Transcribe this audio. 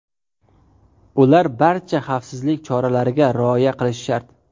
Ular barcha xavfsizlik choralariga rioya qilishi shart.